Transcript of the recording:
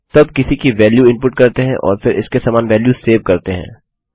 तो अब किसी की वेल्यू इनपुट करते हैं और फिर इसके समान वेल्यू सेव करते हैं